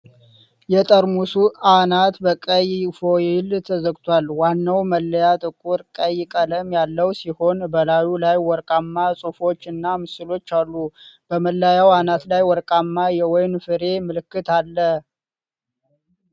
የጠርሙሱ አናት በቀይ ፎይል ተዘግቷል። ዋናው መለያጥቁር ቀይ ቀለም ያለው ሲሆን፣ በላዩ ላይ ወርቃማ ጽሑፎች እና ምስሎች አሉ። በመለያው አናት ላይ ወርቃማ የወይን ፍሬ ምልክት አለ።